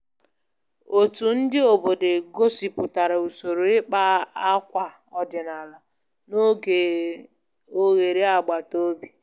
Otu ndị obodo gosipụtara usoro ịkpa akwa ọdịnala n'oge oghere agbataobi